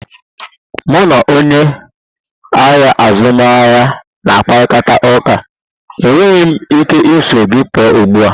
Mụ na onye ahịa azụmaahịa na-akparịta ụka, enweghị m ike iso gị pụọ ugbu a.